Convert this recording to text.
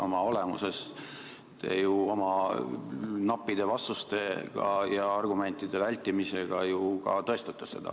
Oma olemuses te ju oma nappide vastustega ja argumentide vältimisega ka tõestate seda.